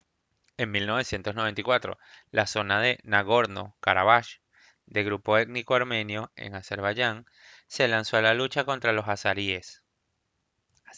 en 1994 la zona de nagorno-karabaj de grupo étnico armenio en azerbaiyán se lanzó a la lucha contra los azeríes